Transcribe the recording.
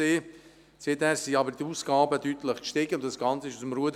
Seither stiegen jedoch die Ausgaben deutlich an, und das Ganze lief aus dem Ruder.